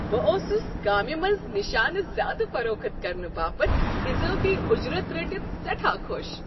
بہٕ اوسس کامہ منٛز نِشانہٕ زیادٕ فروخت كرنہٕ باپتھ اضٲفی اجرت رٔٹتھ سیٹھاہ خۄش۔